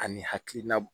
Ani hakilina